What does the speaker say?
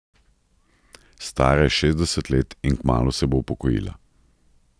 Stara je šestdeset let in kmalu se bo upokojila.